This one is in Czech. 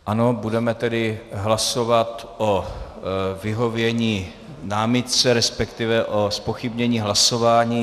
Ano, budeme tedy hlasovat o vyhovění námitce, respektive o zpochybnění hlasování.